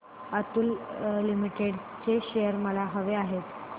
Atul limited चे shares मला हवे आहेत